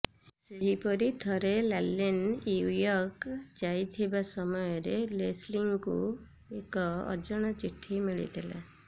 ସେହିପରି ଥରେ ଲାର୍ଲିନ୍ ନ୍ୟୁୟର୍କ ଯାଇଥିବା ସମୟରେ ଲେସଲୀଙ୍କୁ ଏକ ଅଜଣା ଚିଠି ମିଳିଥିଲା